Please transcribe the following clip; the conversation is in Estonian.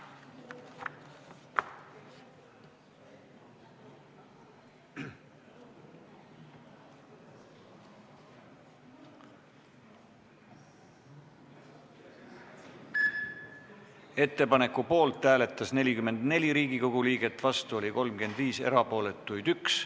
Hääletustulemused Ettepaneku poolt hääletas 44 Riigikogu liiget, vastu oli 35, erapooletuks jäi 1.